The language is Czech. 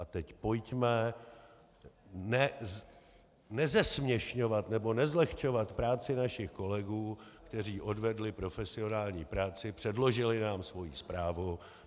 A teď pojďme nezesměšňovat nebo nezlehčovat práci našich kolegů, kteří odvedli profesionální práci, předložili nám svoji zprávu.